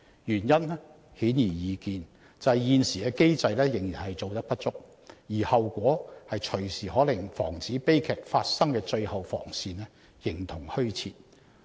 原因顯而易見，便是現時的機制仍然做得不足，而後果動輒可令防止悲劇發生的最後防線形同虛設。